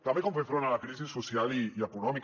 també com fer front a la crisi social i econòmica